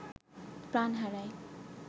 প্রাণ হারায়